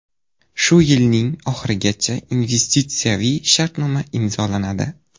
Shu yilning oxirigacha investitsiyaviy shartnoma imzolanadi.